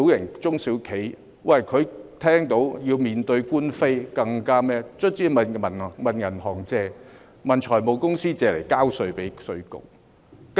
根本中小企一旦要面對官非，最終唯有向銀行、財務公司借錢，以便向稅務局交稅。